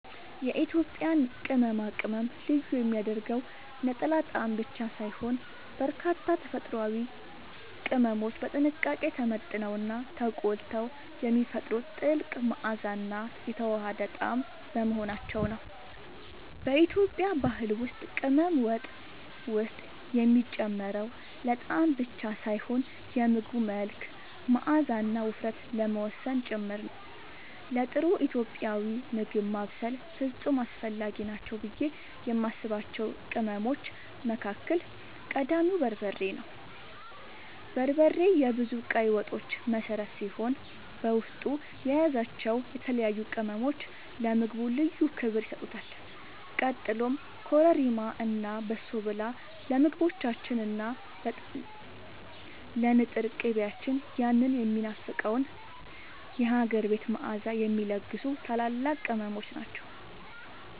የኢትዮጵያን ቅመማ ቅመም ልዩ የሚያደርገው ነጠላ ጣዕም ብቻ ሳይሆን፣ በርካታ ተፈጥሯዊ ቅመሞች በጥንቃቄ ተመጥነውና ተቆልተው የሚፈጥሩት ጥልቅ መዓዛና የተዋሃደ ጣዕም በመሆናቸው ነው። በኢትዮጵያ ባህል ውስጥ ቅመም ወጥ ውስጥ የሚጨመረው ለጣዕም ብቻ ሳይሆን የምግቡን መልክ፣ መዓዛና ውፍረት ለመወሰን ጭምር ነው። ለጥሩ ኢትዮጵያዊ ምግብ ማብሰል ፍጹም አስፈላጊ ናቸው ብዬ የማስባቸው ቅመሞች መካከል ቀዳሚው በርበሬ ነው። በርበሬ የብዙ ቀይ ወጦች መሠረት ሲሆን፣ በውስጡ የያዛቸው የተለያዩ ቅመሞች ለምግቡ ልዩ ክብር ይሰጡታል። ቀጥሎም ኮረሪማ እና በሶብላ ለምግቦቻችን እና ለንጥር ቅቤያችን ያንን የሚናፈቀውን የሀገር ቤት መዓዛ የሚለግሱ ታላላቅ ቅመሞች ናቸው።